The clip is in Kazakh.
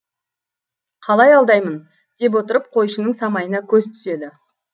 қалай алдаймын деп отырып қойшының самайына көзі түседі